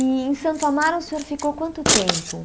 E em Santo Amaro o senhor ficou quanto tempo?